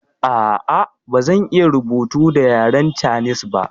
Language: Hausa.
Ah ah bazan iya rubutu da yaren canis ba